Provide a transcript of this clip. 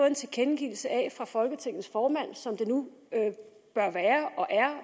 en tilkendegivelse fra folketingets formand som det nu bør være og er